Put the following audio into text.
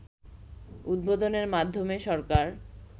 উদ্বোধনের মাধ্যমে সরকার